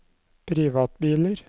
privatbiler